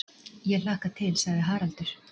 Ég hlakka til, sagði Haraldur.